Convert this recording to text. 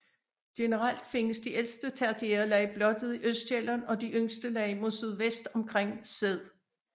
Generelt findes de ældste tertiære lag blottet i Østsjælland og de yngste lag mod sydvest omkring Sæd